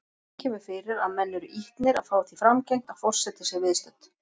Einnig kemur fyrir að menn eru ýtnir að fá því framgengt að forseti sé viðstödd.